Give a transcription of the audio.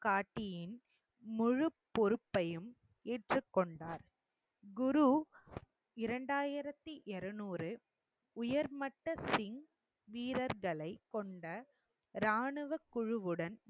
காட்டியின் முழுப்பொறுப்பையும் ஏற்றுக் கொண்டார். குரு இரண்டாயிரத்தி இரநூறு உயர்மட்ட சிங் வீரர்களை கொண்ட ராணுவ குழுவுடன்